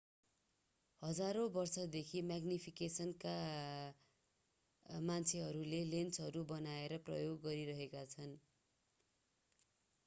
हजारौं वर्षदेखि म्याग्निफिकेसनका मान्छेहरूले लेन्सहरू बनाएर प्रयोग गरिरहेका छन्